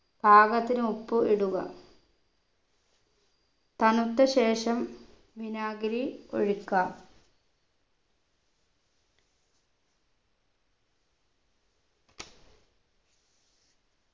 പാകത്തിന് ഉപ്പ് ഇടുക തണുത്ത ശേഷം വിനാഗിരി ഒഴിക്കാം